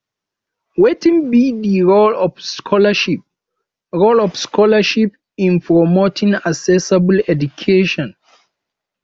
wetin be di role of scholarships role of scholarships in promoting accessible education